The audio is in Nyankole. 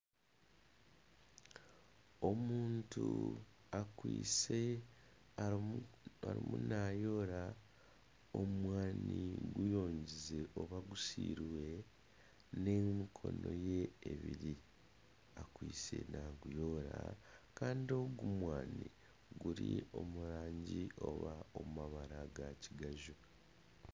Omuntu arimu naayoora, omwani gusiire n'emikono ye ebiri ariyo naaguyoora kandi ogu mwani guri omu mabara ga kigaju